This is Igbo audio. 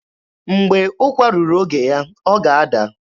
Mgbe ụkwa ruru oge ya, ọ ga-ada.